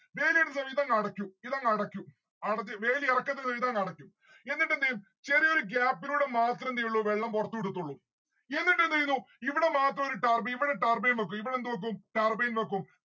വേലിയേറ്റ സമയത്ത് അതങ്ങ് അടക്കും ഇതങ് അടക്കും അടച്ച വേലി എറക്കത്തിന് ഇതങ് അടക്കും. എന്നിട്ടെന്തെയ്യും ചെറിയൊരു gap ലൂടെ മാത്രേ എന്തേയുള്ളു വെള്ളം പൊറത്തു വിടത്തുള്ളു. എന്നിട്ടെന്തെയ്യുന്നു ഇവിടെ മാത്രം ഒരു turbine ഇവിടെ turbine വെക്കും ഇവിടെ എന്ത് വെക്കും turbine വെക്കും